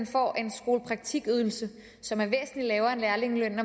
får en skolepraktikydelse som er væsentlig lavere end lærlingelønnen